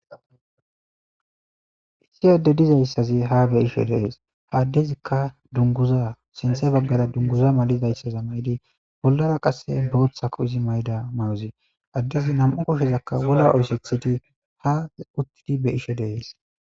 Issi adde dizayssazi ha be7isho dees. ha addezikka dungguza sinthe baggara dungguza malizayssaza mayidi bollara qasse booththako izi mayida mayozi. Addezi nam7u koshshezakka wola oysethidi ha uttidi be7ishe dees.